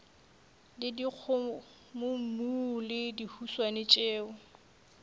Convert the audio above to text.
le dikgomommuu le dihuswane tšeo